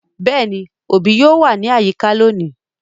Yes, the parent would be around today